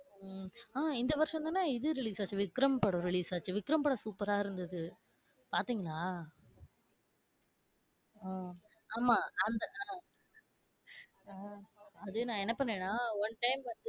உம் ஆஹ் இந்த வருஷம் தான இது release ஆச்சு விக்ரம் படம் release ஆச்சு. விக்ரம் படம் சூப்பரா இருந்துது பாத்தீங்களா? அ ஆமா அந்த, அது நா என்ன பண்ணேன்னா one time வந்து